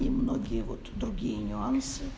и многие вот другие нюансы